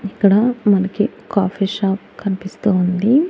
ఇక్కడ మనకి coffee shop కన్పిస్తూ ఉంది.